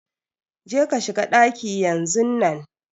Je ka shiga ɗaki yanzun nan